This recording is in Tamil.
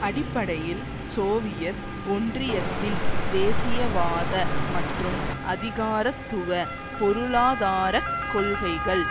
அடிப்படையில் சோவியத் ஒன்றியத்தின் தேசியவாத மற்றும் அதிகாரத்துவ பொருளாதார கொள்கைகள்